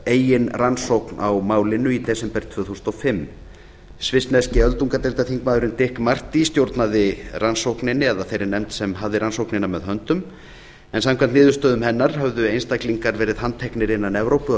eigin rannsókn á málinu í desember tvö þúsund og fimm svissneski þingmaðurinn dick marty stjórnaði rannsókninni eða þeirri nefnd sem hafði rannsóknar með höndum en samkvæmt niðurstöðum hennar höfðu einstaklingar verið handteknir innan evrópu að